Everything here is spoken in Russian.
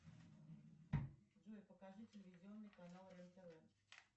джой покажи телевизионный канал рен тв